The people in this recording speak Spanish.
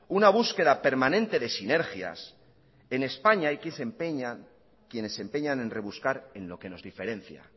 una búsqueda permanente de sinergias en españa hay quienes se empeñan en rebuscar en lo que nos diferencia